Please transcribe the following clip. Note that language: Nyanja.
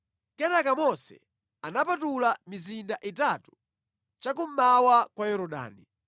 Kenaka Mose anapatula mizinda itatu cha kummawa kwa Yorodani,